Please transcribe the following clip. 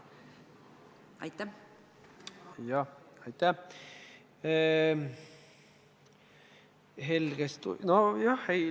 Aitäh!